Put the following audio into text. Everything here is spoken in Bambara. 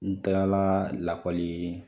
N kilala lakɔli